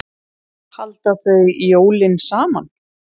Halda þau jólin saman?